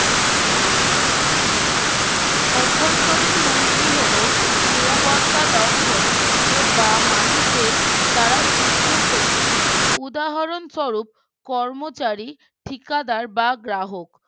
অভ্যন্তরিন হুমকি হলো নিরাপত্তা লঙ্ঘন এ বা মানুষের দ্বারা সৃষ্ট ক্ষতি উদাহরণ স্বরূপ কর্মচারী ঠিকাদার বা গ্রাহক